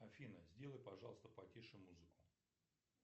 афина сделай пожалуйста потише музыку